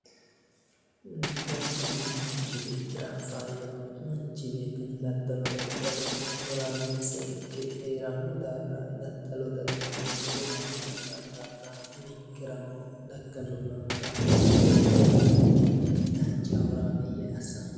Daddalu manchi beettira faayyaho. Manchi beetti daddalo daddaliro horaameessa ikke heeranno daafira daddalo daddaliro gumaamo ikkanno daafira ninkerano daganno ilamarano daddalo daddallummoro dancha horaameeyye assanke.